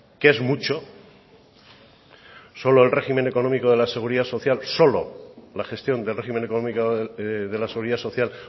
que es mucho solo el régimen económico de la seguridad social solo la gestión del régimen económico de la seguridad social